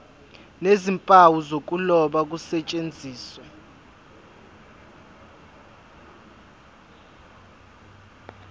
nezimpawu zokuloba kusetshenziswe